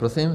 Prosím?